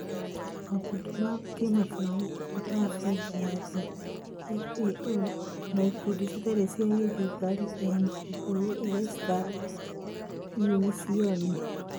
makundi ma kĩmabũrũri ya Bengi ya Thĩ, FAO, na ikundi citarĩ cia gĩthirikari NGOs ta Unision,